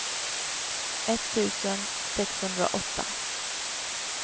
etttusen sexhundraåtta